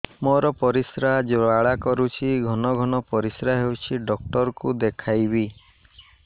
ମୋର ପରିଶ୍ରା ଜ୍ୱାଳା କରୁଛି ଘନ ଘନ ପରିଶ୍ରା ହେଉଛି ଡକ୍ଟର କୁ ଦେଖାଇବି